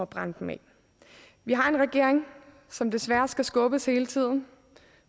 brænde dem af vi har en regering som desværre skal skubbes hele tiden